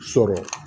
Sɔrɔ